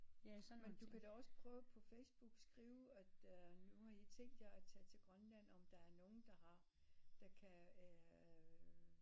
Ja sådan man du kan da prøve også på Facebook skrive at øh nu har i tænkt jer at tage til Grønland om der er nogle der har der kan øh